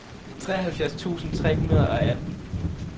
treoghalvfjerds tusind tre hundrede og atten